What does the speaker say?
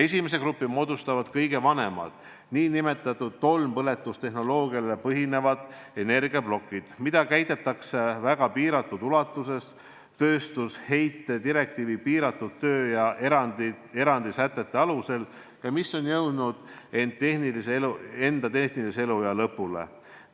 Ühe grupi moodustavad kõige vanemad, nn tolmpõletustehnoloogial põhinevad energiaplokid, mida käitatakse väga piiratud ulatuses tööstusheite direktiivi piiratud töö- ja erandisätete alusel ja mis on jõudnud enda tehnilise eluea lõpule.